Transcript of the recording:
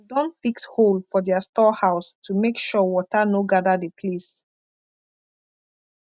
dem don fix hole for their store house to make sure water no gather the place